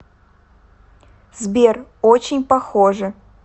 сбер очень похоже